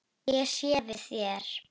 Ég sé við þér.